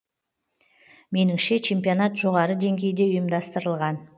меніңше чемпионат жоғары деңгейде ұйымдастырылған